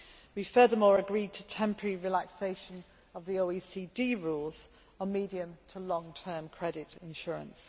We furthermore agree to temporary relaxation of the OECD rules on medium to long term credit insurance.